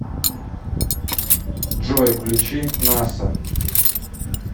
джой включи наса